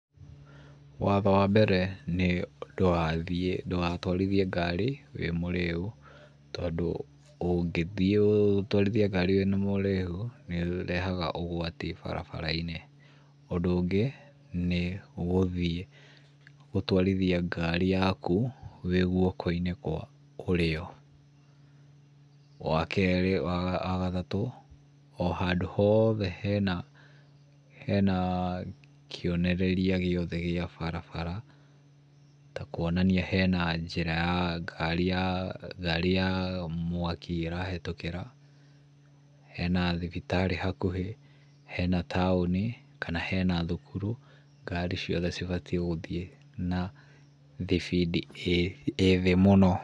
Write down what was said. Watho wa mbere, nĩ ndũgathiĩ ndũgatwarithie ngari wĩ mũrĩu tondũ ũngĩthiĩ ũtwarithie ngari wĩna maũrĩu, nĩ ũrehaga ũgwati barabara-inĩ. Ũndũ ũngĩ, nĩ gũthiĩ gũtwarithia ngari yaku wĩ gwoko-inĩ kwa ũrĩo. Wa kerĩ, wa gatatũ, o handũ hothe hena kĩonereria gĩothe gĩa barabara ta kwonania hena njĩra ya ngari ya ngari ya mwaki ĩrahĩtũkĩra, hena thibitarĩ hakuhĩ, hena taũnĩ, kana hena thukuru, ngari ciothe cibatiĩ gũthiĩ na thibindi ĩ thĩ mũno.